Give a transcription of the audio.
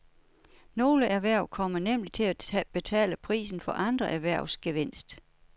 Nogle erhverv kommer nemlig til at betale prisen for andre erhvervs gevinst.